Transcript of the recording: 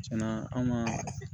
Tiɲɛna an ka